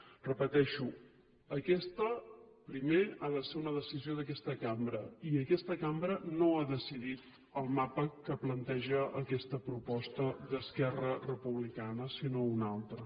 ho repeteixo aquesta primer ha de ser una decisió d’aquesta cambra i aquesta cambra no ha decidit el mapa que planteja aquesta proposta d’esquerra republicana sinó una altra